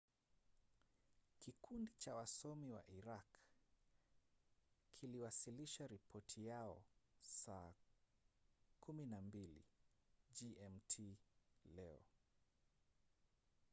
kikundi cha wasomi wa iraq kiliwasilisha ripoti yao saa 12 gmt leo